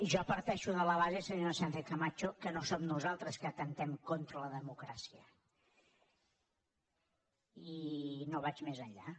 jo parteixo de la base senyora sánchezcamacho que no som nosaltres que atemptem contra la democràcia i no vaig més enllà